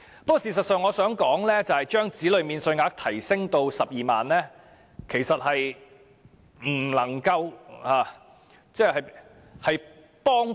不過，我想指出，將子女免稅額提升至12萬元的幫助不大。